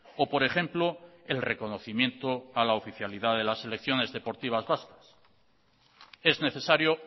o por ejemplo el reconocimiento a la oficialidad de las selecciones deportivas vascas es necesario